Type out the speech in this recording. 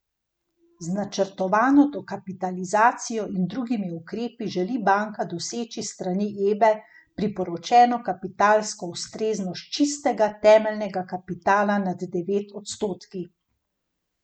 Z načrtovano dokapitalizacijo in drugimi ukrepi želi banka doseči s strani Ebe priporočeno kapitalsko ustreznost čistega temeljnega kapitala nad devet odstotki.